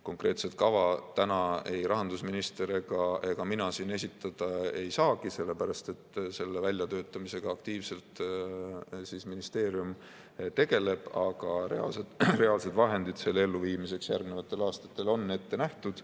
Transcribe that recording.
Konkreetset kava täna ei rahandusminister ega mina siin esitada ei saa, sellepärast et selle väljatöötamisega aktiivselt ministeerium tegeleb, aga reaalsed vahendid selle elluviimiseks järgnevatel aastatel on ette nähtud.